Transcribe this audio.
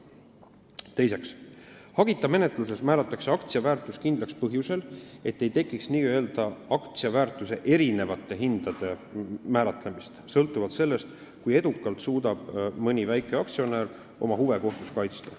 Teiseks, hagita menetluses määratakse aktsia väärtus kindlaks põhjusel, et ei tekiks n-ö aktsia väärtuse erinevate hindade määratlemist, sõltuvalt sellest, kui edukalt suudab mõni väikeaktsionär oma huve kohtus kaitsta.